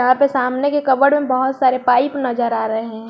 यहां पे सामने के कपबोर्ड में बहुत सारे पाइप नजर आ रहे हैं।